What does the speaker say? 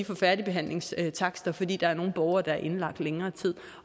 færdigbehandlingstakster fordi der er nogle borgere der er indlagt i længere tid